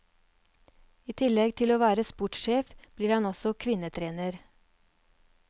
I tillegg til å være sportssjef, blir han også kvinnetrener.